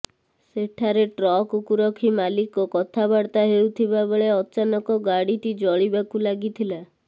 ସେଠାରେ ଟ୍ରକକୁ ରଖି ମାଲିକ କଥା ବାର୍ତ୍ତା ହେଉଥିବା ବେଳେ ଅଚାନକ ଗାଡିଟି ଜଳିବାକୁ ଲାଗିଥିଲା